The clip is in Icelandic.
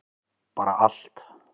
bara allt